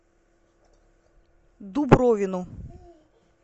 дубровину